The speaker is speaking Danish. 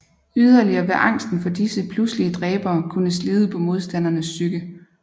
Yderligere vil angsten for disse pludselige dræbere kunne slide på modstandernes psyke